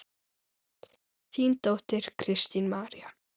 Þín dóttir, Kristín María.